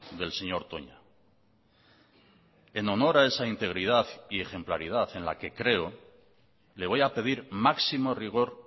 del señor toña en honor a esa integridad y ejemplaridad en la que creo le voy a pedir máximo rigor